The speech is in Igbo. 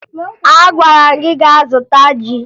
Agwara m gị gaa zụta ji!